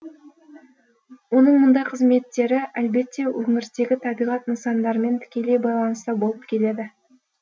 оның мұндай қызметтері әлбетте өңірдегі табиғат нысандарымен тікелей байланыста болып келеді